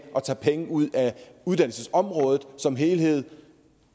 at tage penge ud uddannelsesområdet som helhed